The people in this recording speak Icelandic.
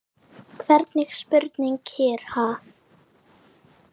Hvernig spurning hér, ha?